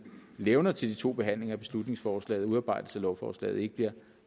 levner til de to behandlinger af beslutningsforslaget og udarbejdelse af lovforslag ikke bliver